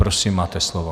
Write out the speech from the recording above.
Prosím, máte slovo.